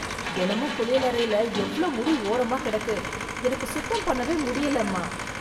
தெனமும் குளியலறைல எவ்ளோ முடி ஓரமா கெடக்கு, எனக்கு சுத்தம் பண்ணவே முடியலம்மா.